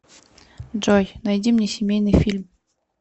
джой найди мне семейный фильм